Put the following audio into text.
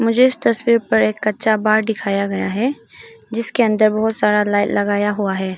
जिस तस्वीर पर एक कच्चा बार दिखाया गया है जिसके अंदर बहोत सारा लाइन लगाया हुआ है।